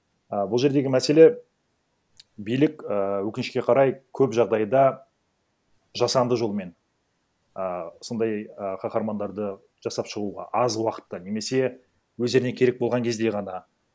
а бұл жердегі мәселе билік ііі өкінішке қарай көп жағдайда жасанды жолмен ы сондай ы каһармандарды жасап шығуға аз уақытта немесе өздеріне керек болған кезде ғана